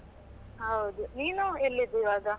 ಹೌದು ನೀನು ಎಲ್ಲಿದ್ದಿ ಈವಾಗ?